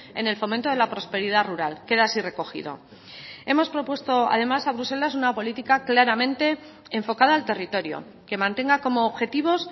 en el fomento de la prosperidad rural queda así recogido hemos propuesto además a bruselas una política claramente enfocada al territorio que mantenga como objetivos